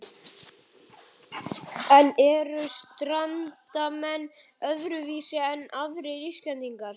En eru Strandamenn öðruvísi en aðrir Íslendingar?